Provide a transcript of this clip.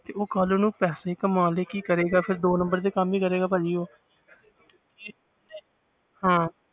ਤੇ ਉਹ ਕੱਲ੍ਹ ਨੂੰ ਪੈਸੇ ਕਮਾਉਣ ਲਈ ਕੀ ਕਰੇਗਾ ਫਿਰ ਦੋ number ਦੇ ਕੰਮ ਹੀ ਕਰੇਗਾ ਭਾਜੀ ਉਹ ਹਮ